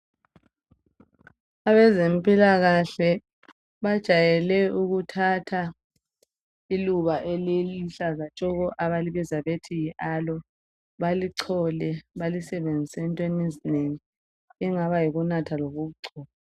Abezempilakahle bajayele ukuthatha iluba eliluhlaza tshoko .Abalibiza bethi yi aloe balichole balisebzise entweni ezinengi okungaba yikunatha lokugcoba.